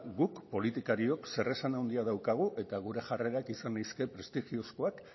guk politikariok zeresan handia daukagu eta gure jarreran izan leizke prestigiozkoak